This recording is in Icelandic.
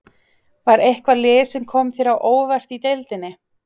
Var eitthvað lið sem kom þér á óvart í deildinni?